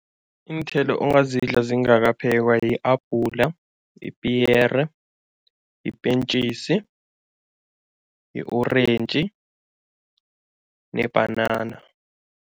Iinthelo ongazidla zingakaphekwa, i-apula, ipiyere, ipentjisi, i-orentji nebhanana.